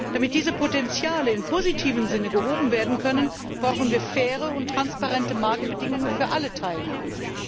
Damit diese Potenziale im positiven Sinne genutzt werden können, brauchen wir faire und transparente Marktbedingungen für alle Teilnehmer.